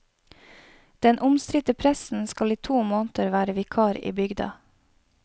Den omstridte presten skal i to måneder være vikar i bygda.